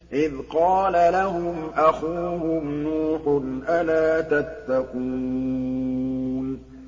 إِذْ قَالَ لَهُمْ أَخُوهُمْ نُوحٌ أَلَا تَتَّقُونَ